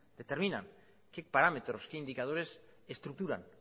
determinan qué parámetros qué indicadores estructuran